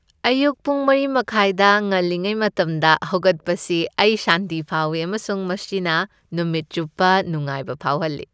ꯑꯌꯨꯛ ꯄꯨꯡ ꯃꯔꯤ ꯃꯈꯥꯢꯗ ꯉꯜꯂꯤꯉꯩ ꯃꯇꯝꯗ ꯍꯧꯒꯠꯄꯁꯤ ꯑꯩ ꯁꯥꯟꯇꯤ ꯐꯥꯎꯏ ꯑꯃꯁꯨꯡ ꯃꯁꯤꯅ ꯅꯨꯃꯤꯠ ꯆꯨꯞꯄ ꯅꯨꯡꯉꯥꯏꯕ ꯐꯥꯎꯍꯜꯂꯤ ꯫